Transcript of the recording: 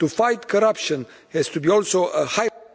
To fight corruption has to be also a high...